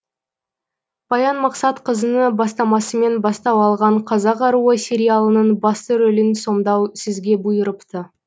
баян мақсатқызыны бастамасымен бастау алған қазақ аруы сериалының басты рөлін сомдау сізге бұйырыпты